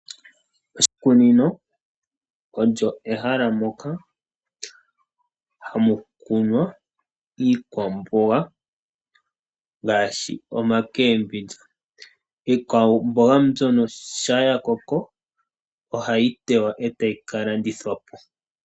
Oshikunino olyo ehala moka hamu kunwa iikwamboga ngaashi iikwamboga yopashinanena . Iikwamboga yoludhi nduno ngele ya koko ohayi teya ko , etayi ka landithwa po .